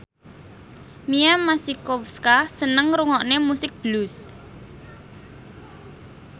Mia Masikowska seneng ngrungokne musik blues